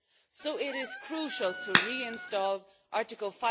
So it is crucial to reinstate Article